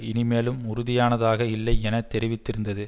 இனிமேலும் உறுதியானதாக இல்லை என தெரிவித்திருந்தது